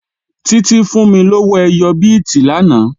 Títí fún mí lówó ẹyọ bíìtì lánàá